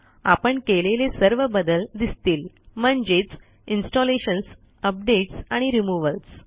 आपण केलेले सर्व बदल दिसतील म्हणजेच इन्स्टॉलेशन्स अपडेट्स आणि रिमूव्हल्स